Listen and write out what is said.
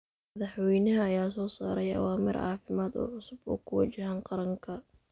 Madaxweynaha ayaa soo saaray awaamiir caafimaad oo cusub oo ku wajahan qaranka.